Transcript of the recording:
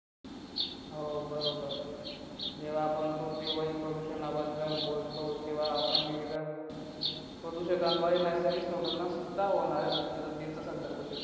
हो बरोबर जेव्हा आपण पृथ्वीवरील प्रदूषणाबद्दल बोलतो तेव्हा आपण विविध प्रदूषणाबरोबर